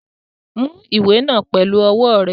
Mú ìwé náà pẹlu ọwọ́ rẹ!